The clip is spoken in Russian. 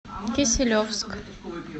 киселевск